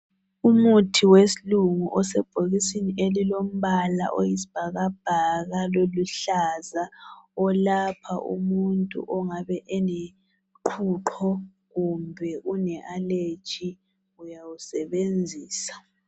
Umuthi wesilungu sebhokisini elilombala oyisibhakabhaka loluhlaza olapha umuntu ongabe eloqhuqho kumbe ule aleji uyawusebenzisa.